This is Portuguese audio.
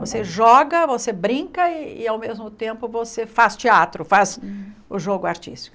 Você joga, você brinca e ao mesmo tempo você faz teatro, faz o jogo artístico.